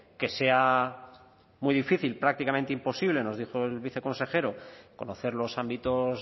que sea muy difícil prácticamente imposible nos dijo el viceconsejero conocer los ámbitos